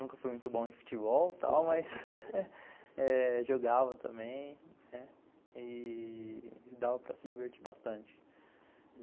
Nunca fui muito bom em futebol, mas jogava também e dava para se divertir bastante.